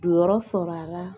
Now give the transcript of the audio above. Jɔyɔrɔ sɔrɔ a la